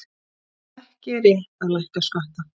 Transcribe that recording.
Ekki rétt að lækka skatta